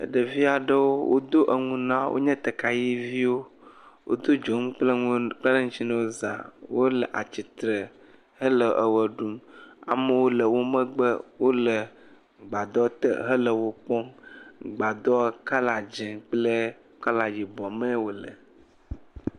Ɖevi aɖewo wodo enu na wo wonye tegayiviwo. Woto dzonu kple enuwo kpe ɖe ŋuttsi na wo za. Wole atsitre hele ʋe ɖum. Amewo le wo megbe wole gbadɔ te hele wo kpɔm. gbadɔ kɔla dzi kple kɔla yibɔ mee wole.